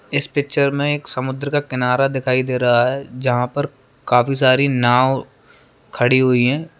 इस पिक्चर में एक समुन्द्र का किनारा दिखाई दे रहा हैं जहाँ पर काफी सारी नाव खड़ी हुई हैं।